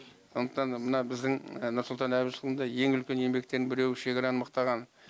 сондықтан мына біздің нұрсұлтан әбішұлында ең үлкен еңбектің біреуі шекараны мықтаған